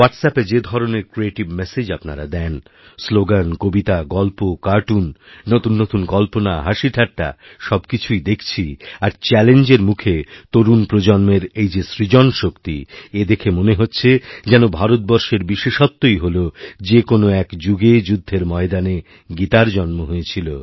হোয়াটস অ্যাপে যে ধরনেরক্রিয়েটিভ ম্যাসেজ দেন আপনারা স্লোগান কবিতা গল্প কার্টুন নতুন নতুন কল্পনাহাসিঠাট্টা সব কিছুই দেখছি আর চ্যালেঞ্জের মুখে তরুণ প্রজন্মের এই যে সৃজন শক্তিএ দেখে মনে হচ্ছে যেন এই ভারতবর্ষের বিশেষত্বই হলো যে কোনও এক যুগে যুদ্ধেরময়দানে গীতার জন্ম হয়েছিল